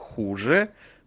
хуже